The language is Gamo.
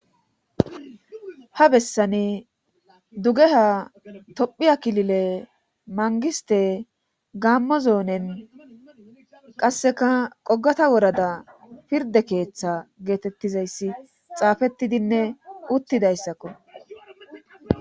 ha bessani dugeha tophiyakilile mangiste gammo zoonen qasseka qogata worada pirde keeththa geetettizayssi xaafettidinne uttidayssakko